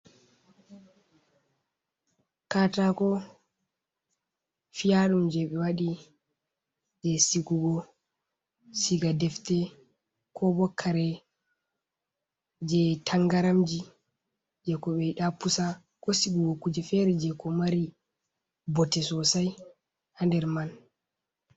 Katako fiyaɗum jei ɓe waɗi jei sigugo siga defte, ko bo kare jei tangaramji jei ko ɓe yiɗa pusa ko sigugo kuje feere jei ko mari bote sosai ha nder man.